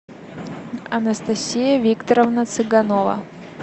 анастасия викторовна цыганова